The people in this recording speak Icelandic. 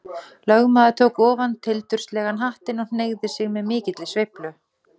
Lögmaður tók ofan tildurslegan hattinn og hneigði sig með mikilli sveiflu.